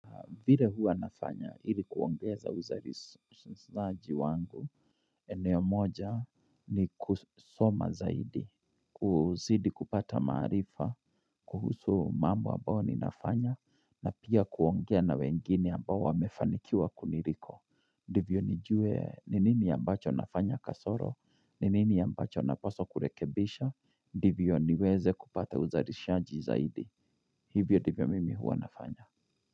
Vile hua nafanya ili kuongeza uzalishaji wangu, eneo moja ni kusoma zaidi, kuzidi kupata maarifa, kuhusu mambo ambao ninafanya, na pia kuongea na wengine ambao wamefanikiwa kuniliko. Ndivyo nijue ni nini ambacho nafanya kasoro, ni nini ambacho napaswa kurekebisha, ndivyo niweze kupata uzalishaji zaidi. Hivyo divyo mimi hua nafanya.